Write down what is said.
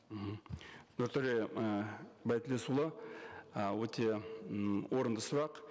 мхм нұртөре ы байтілесұлы ы өте ммм орынды сұрақ